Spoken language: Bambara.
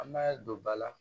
An b'a don ba la